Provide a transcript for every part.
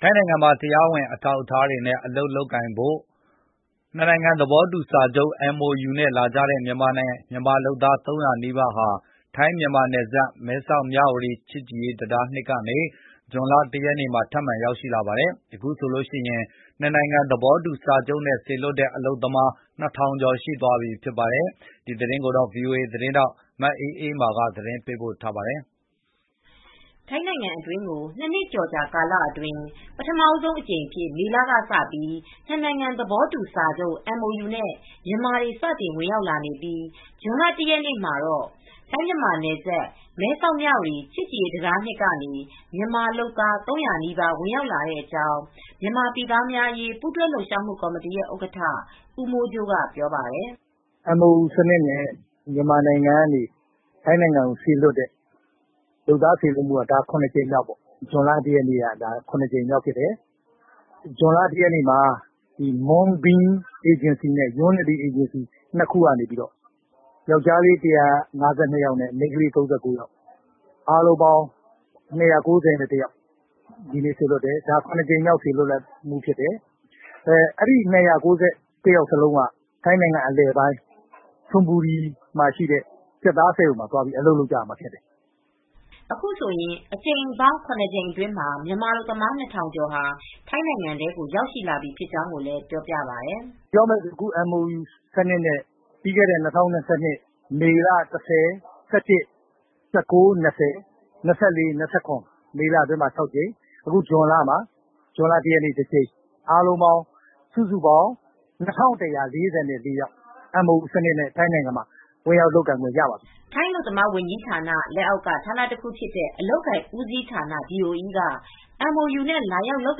ထိုင်းနိုင်ငံမှာ တရားဝင် အထောက်အထားတွေနဲ့ အလုပ်လုပ်ကိုင်ဖို့ နှစ်နိုင်ငံသဘောတူစာချုပ် MOU နဲ့ လာကြတဲ့ မြန်မာလုပ်သား ၃၀၀နီးပါဟာ ထိုင်းမြန်မာနယ်စပ် မဲဆောက် မြဝတီ ချစ်ကြည်ရေးတံတား(၂)ကနေ ဇွန်လ(၁)ရက်နေ့မှာ ထပ်မံဝင်ရောက်လာပါတယ်။ အခုဆိုရင် နှစ်နိုင်ငံ သဘောတူစာချုပ်နဲ့ စေလွှတ်တဲ့ အလုပ်သမား ၂၀၀၀ကျော်ရှိသွားပြီဖြစ်ပါတယ်။ ဒီသတင်းကို ဗွီအိုအေ သတင်းထောက် မအေးအေးမာ က သတင်းပေးပု့ိထားပါတယ်။ ထိုင်းနိုင်ငံအတွင်းကို ၂နှစ်ကျော်ကာလအတွင်း ပထမဦးအကြိမ်အဖြစ် မေလကစပြီး နှစ်နိုင်ငံသဘောတူစာချုပ် MOU နဲ့ မြန်မာတွေ စတင်ဝင်ရောက်လာပြီး ဇွန်လ၁ရက်နေ့မှာတော့ ထိုင်းမြန်မာနယ်စပ် မဲဆောက်မြဝတီ ချစ်ကြည်ရေးတံတား(၂)ကနေ မြန်မာ လုပ်သား ၃၀၀နီးပါး ဝင်ရောက်လာတဲ့အကြောင်း မြန်မာပြည်သားများအရေး ပူးတွဲ လှုပ်ရှားမူ့ကော်မတီရဲ့ဥက္ကဌ ဦးမိုးကြိုးကပြောပါတယ်။ "MOU စံနစ်နဲ့ မြန်မာနိုင်ငံကနေ ထိုင်းနိုင်ငံဘက်ကို လုပ်သားစေလွှတ်မူ့က ဇွန်လ ၁ရက်နေ့က ဒါက ၇ကြိမ်မြောက်ပေါ့။ မွန်းဘင်းအေဂျင်စီနဲ့ ယွန်းနဒီအေဂျင်စီ ၂ခုက ယောက်ကျားလေး ၁၅၂ယောက်နဲ့ မိန်းကလေး၃၉ယောက် အားလုံးပေါင်း ၂၉၁ယောက်စေလွှတ်တယ်။ ဒါက ရကြိမ်မြောက်ဖြစ်တယ်။ အဲဒီ ၂၉၁ယောက်လုံးက ထိုင်းနိုင်ငံအလယ်ပိုင်း ချွန်ဘူရီက ကြက်သားစက်ရုံမှာ အလုပ်သွားလုပ်ကြမယ့်သူတွေဖြစ်တယ်" အခုဆိုရင် အကြိမ်ပေါင်း ၇ကြိမ်အတွင်းမှာ မြန်မာအလုပ်သမား၂၀၀၀ကျော် ထိုင်းနိုင်ငံထဲကို ရောက်ရှိလာပြီဖြစ်ကြောင်းကိုလည်း ပြောပြပါတယ်။ " ပြောမယ်ဆိုရင် MOU စံနစ်နဲ့ ပြီးခဲ့တဲ့ ၂၀၂၂ခုနှစ် မေလ ၁၀,၁၁,၁၉,၂၀, ၂၄,၂၇ မေလအတွင်းမှာ ၆ကြိမ် ၊ အခုဇွန်လ ၁ရက်နေ့မှာတကြိမ် စုစုပေါင်း ၂၁၄၄ ယောက် MOU စံနစ်နဲ့ ထိုင်းနိုင်ငံမှာဝင်ရောက်လုပ်ကိုင်ခွင့်ရပါတယ်" ထိုင်းအလုပ်သမားဝန်ကြီးဌာန လက်အောက်က ဌာနတခုဖြစ်တဲ့ အလုပ်အကိုင်ဦးစီးဌာန Department of Employment (DOE )က MOU နဲ့ လာရောက်လုပ်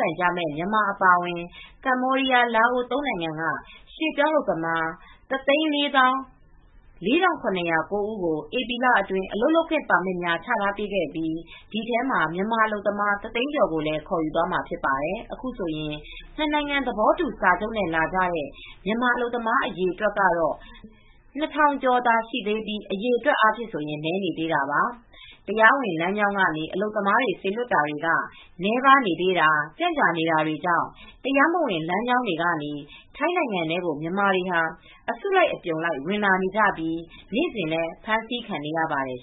ကိုင်မယ့် မြန်မာအပါအဝင် ကမ္ဘောဒီးယား လာအိုဝ် ၃ နိုင်ငံက ရွှေ့ပြောင်းအလုပ်သမား ၁၄၄၇၀၉ ကို ဧပြီလအတွင်း အလုပ်လုပ်ခွင့် ပါမစ်များချပေးခဲ့ပြီး ဒီထဲမှာမြန်မာအလုပ်သမားတသိန်းကျော်ကို ခေါ်ယူသွားမှာဖြစ်ပါတယ်။ အခုဆိုရင် နှစ်နိုင်ငံသဘောတူစာချုပ်နဲ့ လာကြတဲ့ မြန်မာအလုပ်သမားတွေ အရေအတွက်ကတော့ ၂၀၀၀ကျော်သာရှိသေးပြီး အရည်အတွက်အားဖြင့်ဆိုရင် နည်းနေသေးတာပါ ။ တရားဝင်လမ်းကြောင်းကနေ အလုပ်သမားစေလွှတ်တာတွေက နည်းပါးနေသေးတာ။ ကြန့်ကြာနေတာတွေကြောင့် တရားမဝင်လမ်းကြောင်းတွေကနေ ထိုင်းနိုင်ငံထဲကို မြန်မာတွေဟာအစုလိုက်အပြုံလိုက် ဝင်လာနေပြီး နေ့စဉ်လည်း အဖမ်းဆီးခံနေရပါတယ်